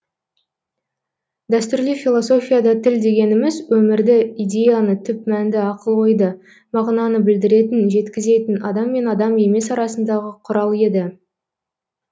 дәстүрлі философияда тіл дегеніміз өмірді идеяны түп мәнді ақыл ойды мағынаны білдіретін жеткізетін адам мен адам емес арасындағы құрал еді